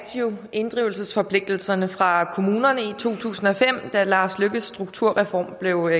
jo inddrivelsesforpligtelserne fra kommunerne i to tusind og fem da lars løkke rasmussens strukturreform blev